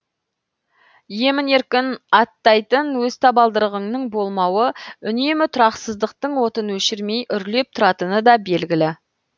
емін еркін аттайтын өз табалдырығыңның болмауы үнемі тұрақсыздықтың отын өшірмей үрлеп тұратыны да белгілі